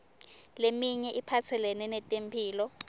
leminye iphatselene netemphilo